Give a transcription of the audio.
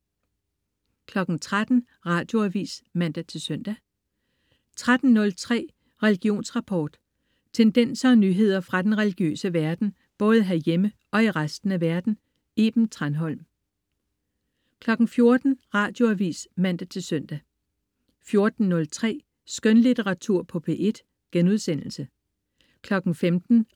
13.00 Radioavis (man-søn) 13.03 Religionsrapport. Tendenser og nyheder fra den religiøse verden, både herhjemme og i resten af verden. Iben Thranholm 14.00 Radioavis (man-søn) 14.03 Skønlitteratur på P1* 15.00